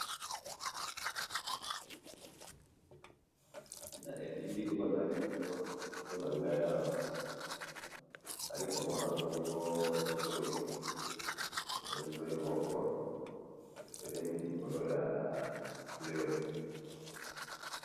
Na elili oyo nazali komona liboso nangayi awa, nazali komona bongo nzoyi, eh! nzoyi moko, etelemi likolo ya fleur.